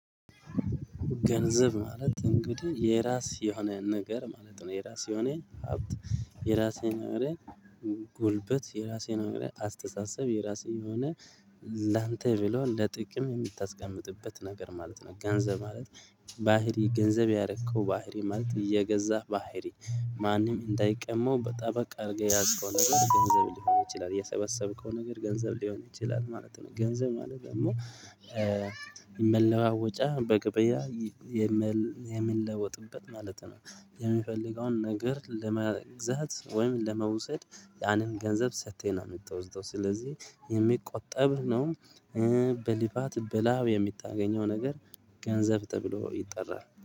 ገንዘብ ማለት እንግዲህ የራስ የሆነ ነገር ማለት ነው የራስ የሆነ ሀብት የራስ የሆነ ጉልበት የራስ የሆነ አስተሳሰብ የራስ የሆነ ላንተ ብሎ ለጥቅም የምታስቀምጥበት ነገር ማለት ነው። ገንዘብ ማለት ባህሪ ገንዘብ ያረከው ባህሪ ማለት እየገዛህ ባህሪ ማንም እንዳይቀመው በጠበቅ አድርገህ የያዝከው ነገር ገንዘብ ሊሆን ይችላል የሰበሰብከው ነገር ገንዘብ ሊሆን ይችላል ማለት ነው። ገንዘብ ማለት ደግሞ የመለዋወጫ በገብያ የምንለወጥበት ማለት ነው። የምንፈልገውን ነገር ለመግዛት ወይም ለመውሰድ ያንን ገንዘብ ሰጥተን ነው የምትወዝደው ስለዚህ የሚቆጠብ ነው። በልፋት በላብ የምታገኘው ነገር ገንዘብ ተብሎ ይጠራል